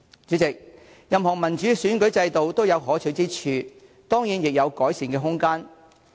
主席，任何民主選舉制度都有可取之處，當然亦有改善空間。